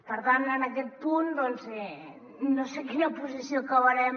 per tant en aquest punt doncs no sé quina posició acabarem